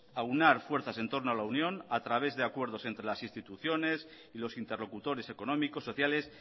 aunar fuerzas en torno a la unión a través de acuerdos entre las instituciones y los interlocutores económicos sociales